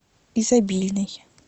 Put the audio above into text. изобильный